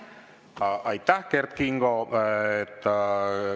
Aitäh, Kert Kingo!